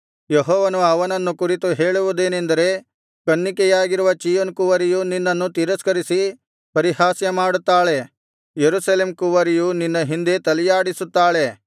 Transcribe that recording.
ಯೆಹೋವನು ಅವನನ್ನು ಕುರಿತು ಹೇಳುವುದೇನೆಂದರೆ ಕನ್ನಿಕೆಯಾಗಿರುವ ಚೀಯೋನ್ ಕುವರಿಯು ನಿನ್ನನ್ನು ತಿರಸ್ಕರಿಸಿ ಪರಿಹಾಸ್ಯಮಾಡುತ್ತಾಳೆ ಯೆರೂಸಲೇಮ್ ಕುವರಿಯು ನಿನ್ನ ಹಿಂದೆ ತಲೆಯಾಡಿಸುತ್ತಾಳೆ